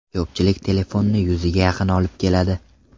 Ko‘pchilik telefonni yuziga yaqin olib keladi.